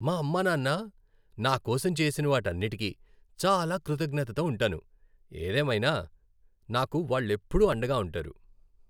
మా అమ్మా నాన్న నా కోసం చేసిన వాటన్నిటికీ చాలా కృతజ్ఞతతో ఉంటాను. ఏదేమైనా నాకు వాళ్లెప్పుడూ అండగా ఉంటారు.